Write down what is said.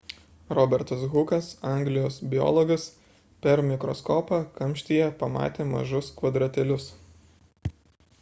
robertas hukas anglijos biologas per mikroskopą kamštyje pamatė mažus kvadratėlius